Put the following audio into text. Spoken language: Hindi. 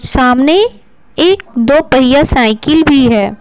सामने एक दो पहिया साइकिल भी है।